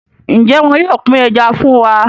Njé wón yóò pin Ẹja fún wá?